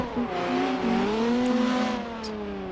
Ok ong'e gima kelo tuo mar nge't .